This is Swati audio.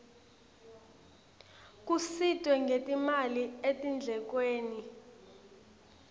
kusitwe ngetimali etindlekweni